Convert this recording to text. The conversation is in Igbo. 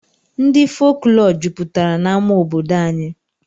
Ndị folklọ jupụtara n'amá obodo anyị